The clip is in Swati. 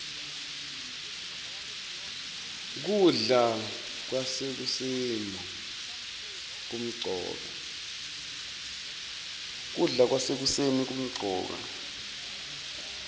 kudla kwasekuseni kumcoka